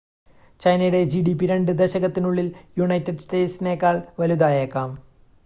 ചൈനയുടെ ജിഡിപി രണ്ട് ദശകത്തിനുള്ളിൽ യുണൈറ്റഡ് സ്റ്റേറ്റ്സിനേക്കാൾ വലുതായേക്കാം